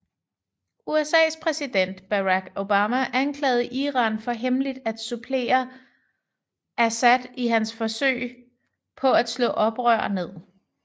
USAs præsident Barack Obama anklagede Iran for hemmeligt at supplere Assad i hans forsøg på at slå oprør ned